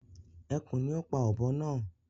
Ẹkùn ni o pá ọ̀bọ naa